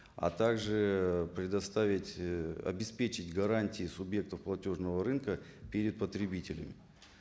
а так же ыыы предоставить ы обеспечить гарантии субъектов платежного рынка перед потребителями